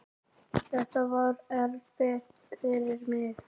Þetta var erfitt fyrir mig.